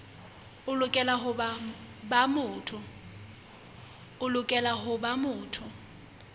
o lokela ho ba motho